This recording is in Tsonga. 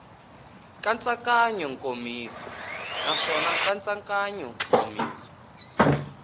nkatsakanyo nkomiso naswona nkatsakanyo nkomiso